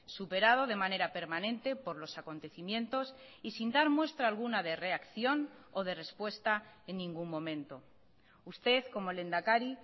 superado de manera permanente por los acontecimientos y sin dar muestra alguna de reacción o de respuesta en ningún momento usted como lehendakari